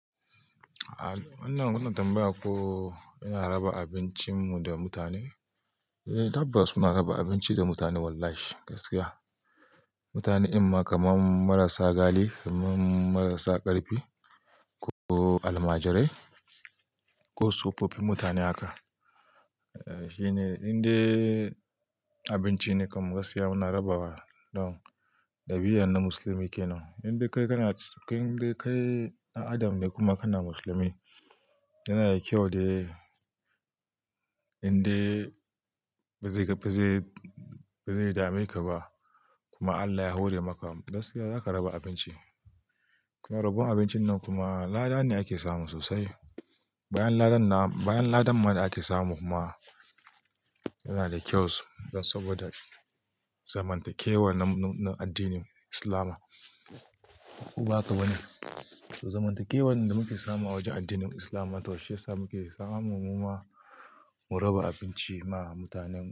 Ina wannan tambaya ko ina raba abincin mu da mutane? Eh tabbas muna raba abinci da mutane wallahi gaskiya. Mutanen ɗin ma kamar marasa gali, kamar marasa ƙarfi ko almajirai ko tsofofi mutane haka. Eh shi ne in dai abinci ne kam gaskiya muna rabawa, don ɗabi'an na musulmi kenan. In dai kai kana, in dai kai ɗa adam ne kuma kana musulmi yana da kyau dai in dai ba zai, ba zai, ba zai dame ka ba kuma Allah ya hore maka gaskiya nakan raba abinci. Kuma rabon abincin nan kuma lada ne ake samu sosai. Bayan ladan nan, bayan ladan ma da ake samu kuma yana da kyau saboda zamantakewar na, na addinin Islama. Ko ba haka bane? To zamantakewar da muke samu a wajen addinin Islam ma to shiyasa muke samu muma mu raba abinci ma mutanen.